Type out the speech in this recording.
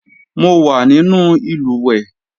Mo wà nínú ìlùwẹ̀ẹ̀